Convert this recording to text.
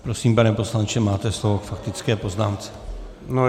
Prosím, pane poslanče, máte slovo k faktické poznámce.